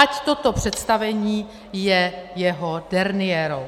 Ať toto představení je jeho derniérou.